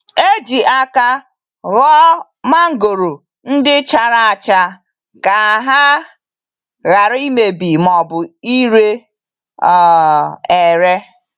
E ji aka họọ mangoro ndị chara acha ka ha ghara imebi ma ọbụ ire um ere.